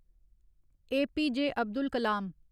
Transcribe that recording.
आ.प.ज. अब्दुल कलम